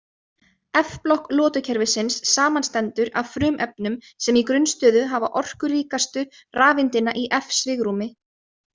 F-blokk lotukerfisins samanstendur af frumefnum sem í grunnstöðu hafa orkuríkastu rafeindina í f-svigrúmi.